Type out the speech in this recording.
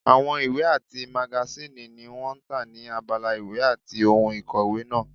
Àwọn ìwé àti magasíìnì ni wọ́n tà ní abala ìwé àti ohun ìkòwé náà